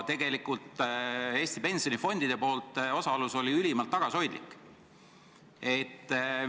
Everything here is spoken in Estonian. Eesti pensionifondide osalus oli ülimalt tagasihoidlik.